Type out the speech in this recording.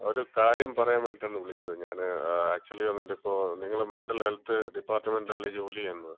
അതെ. അതെ.ഷൈമ അല്ലേ, ഷൈമ ഒരു കാര്യം പറയാൻ വേണ്ടീട്ടാണ് വിളിച്ചത്, ഞാൻ ആക്ച്യുലി വന്നിട്ട്പ്പം നിങ്ങൾ മെന്‍റൽ ഹെൽത്ത് ഡിപ്പാർട്ട്മെന്‍റിലല്ലേ ജോലി ചെയ്യുന്നത്?